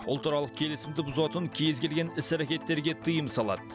ұлтаралық келісімді бұзатын кез келген іс әрекеттерге тыйым салады